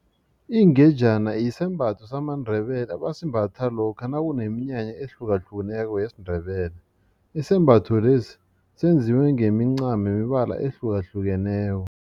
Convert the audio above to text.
Ingejana yisembatho samaNdebele abasimbatha lokha nakuneminyanya ehlukahlukeneko yesiNdebele isembatho lesi senziwe ngemincamo yemibala ehlukahlukeneko.